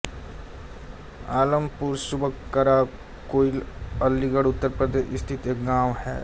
आलमपुर सुबकरा कोइल अलीगढ़ उत्तर प्रदेश स्थित एक गाँव है